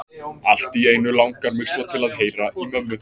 Allt í einu langar mig svo til að heyra í mömmu.